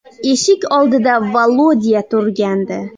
Eshik oldida Volodya turgandi.